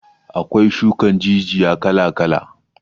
Akwai shukan jijiya kala kala